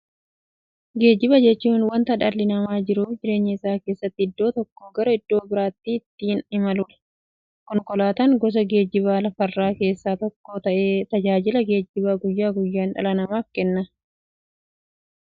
Geejjiba jechuun wanta dhalli namaa jiruuf jireenya isaa keessatti iddoo tokkoo gara iddoo birootti ittiin imaluudha. Konkolaatan gosa geejjibaa lafarraa keessaa tokko ta'ee, tajaajila geejjibaa guyyaa guyyaan dhala namaaf kenna.